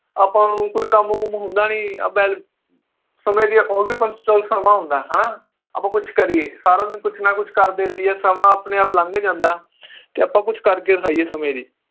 ਆਪਾਂ ਨੂੰ ਕੋਈ ਕੰਮ ਕੰਮ ਹੁੰਦਾ ਨੀ ਵੈਲ~ ਸਮੇ ਹੁੰਦਾ ਹ ਨਾ ਆਪਾਂ ਕੱਚ ਕਰੀਏ ਸਾਰਾ ਦਿਨ ਕੁਛ ਨਾ ਕੁਛ ਕਰਦੇ ਰਹੀਏ ਸਮਾਂ ਆਪਣੇ ਆਪ ਲੰਘ ਜਾਂਦਾ ਕਿ ਆਪਾਂ ਕੁਛ ਕਰਕੇ ਦਿਖਾਈਏ ਸਮੇ ਲਈ